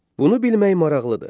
Bunu bilmək maraqlıdır.